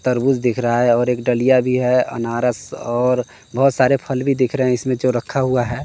तरबूज दिख रहा है और एक डलीय भी है आनारस और बहोत सारे फल भी दिख रहे इसमें जो रखा हुआ है।